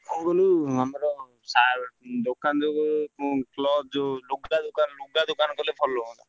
କହୁନୁ ଆମର ସାର ଦୋକାନ ଜଗୁ କ୍ଳବ ଯଉ ଲୁଗା ଦୋକାନ କଲେ ଭଲ ହୁଅନ୍ତା।